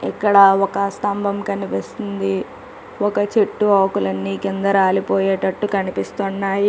ఇక్కడ ఒక స్తంభం కనిపిస్తుంది ఒక చెట్టు ఆకులన్ని కిందకు రాలిపోయేటట్టు కనిపిస్తున్నాయి.